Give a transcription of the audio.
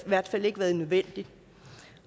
i hvert fald ikke været nødvendigt